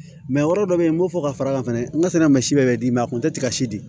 yɔrɔ dɔ be yen n b'o fɔ ka fara kan fɛnɛ n ka sɛnɛ ma si bɛɛ d'i ma a kun tɛ tiga si di